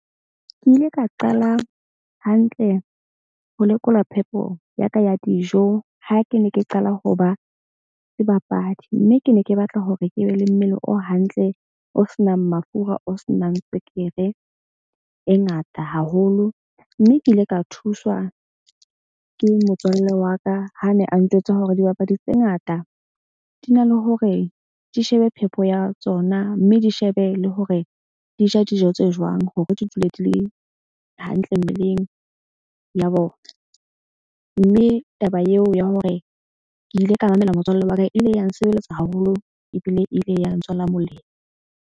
Ke ile ka qala hantle ho lekola phepo ya ka ya dijo. Ha ke ne ke qala ho ba sebapadi mme ke ne ke batla hore ke be le mmele o hantle, o senang mafura o senang tswekere e ngata haholo. Mme ke ile ka thuswa ke motswalle wa ka. Ha ne a ntjwetsa hore dibapadi tse ngata di na le hore di shebe phepo ya tsona. Mme di shebe le hore di ja dijo tse jwang hore di dule di le hantle mmeleng ya bona. Mme taba eo ya hore ke ile ka mamela motswalle wa ka ile ya nsebeletsa haholo ebile e ile ya ntswela molemo.